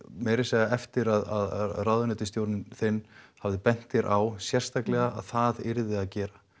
meira að segja eftir að ráðuneytisstjórinn þinn hafði bent þér á sérstaklega að það yrði að gera